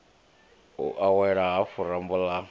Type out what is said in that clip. u awela hafhu rambo ha